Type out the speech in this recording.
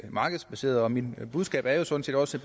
markedsbaseret mit budskab er jo sådan set også